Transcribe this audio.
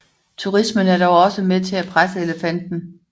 Turismen er dog også med til at presse elefanten